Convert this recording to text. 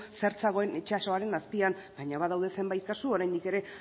zer zegoen itsasoaren azpian baina badaude zenbait kasu oraindik ere